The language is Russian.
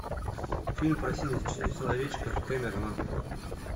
фильм про синих человечков кэмерона